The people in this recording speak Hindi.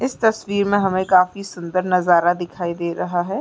इस तस्वीर मे हमे काफी सुंदर नाजरा दिखाई दे रहा है।